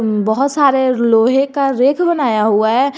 बहोत सारे लोहे का रेक बनाया हुआ है।